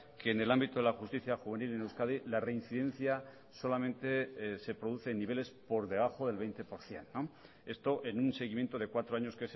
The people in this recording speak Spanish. que en el ámbito de la justicia juvenil en euskadi la reincidencia solamente se produce en niveles por debajo del veinte por ciento esto en un seguimiento de cuatro años